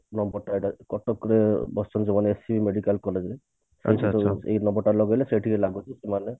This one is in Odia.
କଟକ ରେ ବସିଛନ୍ତି ମାନେ SCB medical collage ରେ ଏଇ number ଟା ଲଗେଇଲେ ସେଇଠିକି ଲାଗୁଛି ସେମାନେ